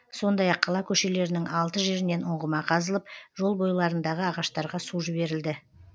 сондай ақ қала көшелерінің алты жерінен ұңғыма қазылып жол бойларындағы ағаштарға су жіберілді